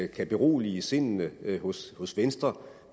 kan berolige sindene hos hos venstre